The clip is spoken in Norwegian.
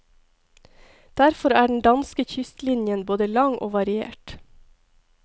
Derfor er den danske kystlinjen både lang og variert.